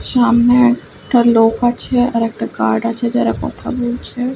সামনে একটা লোক আছে আর একটা গার্ড আছে যারা কথা বলছে।